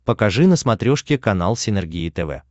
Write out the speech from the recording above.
покажи на смотрешке канал синергия тв